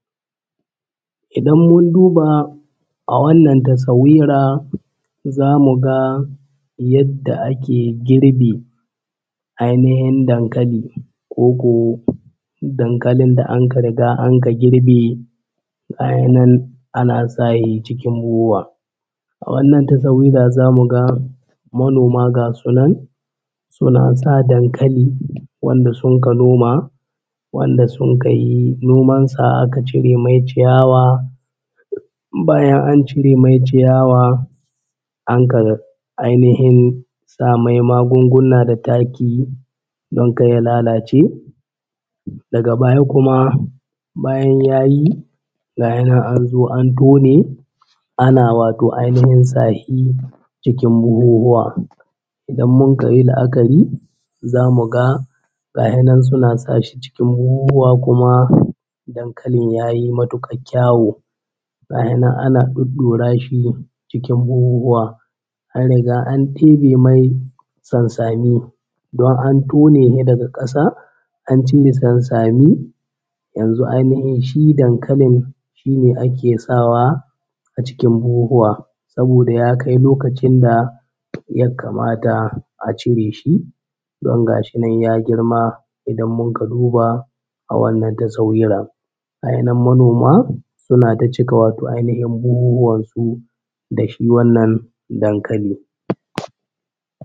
Idan mun duba a wannan taswira za mu ga yadda ake girbin ainihin dankali koko dankalin da anka riga anka girbe gayinan ana sahi cikin buhuhuwa. A wannan tasawira za mu ga manoma ga su nan suna sa dankali wanda sunka noma, wanda sunka yi noman sa aka cire mai ciyawa, bayan an cire mai ciyawa anka ainihin sa mai magungunna da taki don kar ya lalace. Daga baya kuma bayan ya yi gaya nan an zo an tone ana wato ainahin sa shi cikin buhuhuwa. Idan mun ka yi la’akari za mu ga gahe nan suna sa shi cikin buhuhuwa kuma dankalin ya yi matuƙar kyawu. Gahe nan ana ɗuɗɗura shi cikin buhuhuwa an riga an heɗe mai sansani don an tone shi daga ƙasa an cire sansani, yanzu ainihin shi dankalin shine ake sawa a cikin buhuhuwa saboda ya kai lokacin da ya kamata a cire shi don gashi nan ya girma idan munka duba a wannan tasawira, gaya nan manoma suna ta cika wato ainihin su da shi wannan dankali.